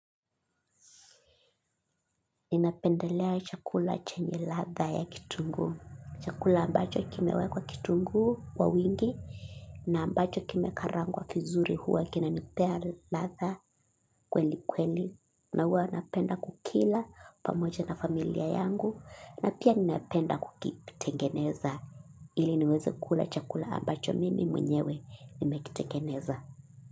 Ninapendelea chakula chenye ladha ya kitunguu, chakula ambacho kimewekwa kitunguu kwa wingi, na ambacho kimekarangwa vizuri huwa kinanipea ladha kweli kweli na huwa napenda kukila pamoja na familia yangu, na pia ninapenda kukitengeneza ili niweze kula chakula ambacho mimi mwenyewe nimekitengeneza.